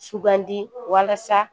Sugandi walasa